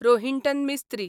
Rohinton Mistry